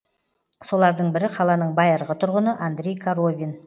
солардың бірі қаланың байырғы тұрғыны андрей коровин